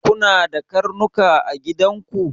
Kuna da karnuka a gidan ku?